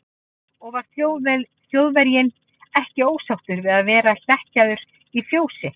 Og var Þjóðverjinn ekki ósáttur við að vera hlekkjaður í fjósi?